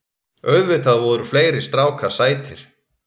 Auðvitað voru fleiri strákar sætir.